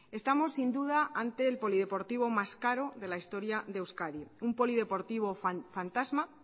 estamos sin duda ante el polideportivo más caro de la historia de euskadi un polideportivo fantasma